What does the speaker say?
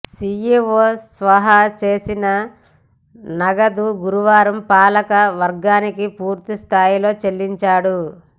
CEO స్వాహా చేసిన నగదు గురువారం పాలక వర్గానికి పూర్తి స్థాయిలో చెల్లించాడు